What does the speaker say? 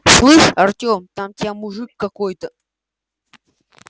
слышишь артем там тебя мужик какой-то